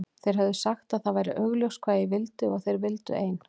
Þeir höfðu sagt að það væri augljóst hvað ég vildi og að þeir vildu ein